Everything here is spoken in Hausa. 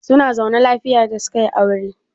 Zuna zaune lafiya da suka yi aure?